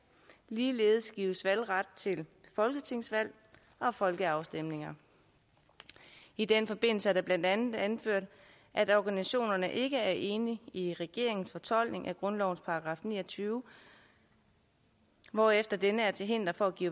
ligeledes gives valgret til folketingsvalg og folkeafstemninger i den forbindelse er det blandt andet anført at organisationerne ikke er enige i regeringens fortolkning af grundlovens § ni og tyve hvorefter denne er til hinder for at give